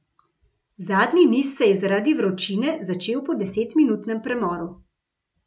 Zadnji niz se je zaradi vročine začel po desetminutnem premoru.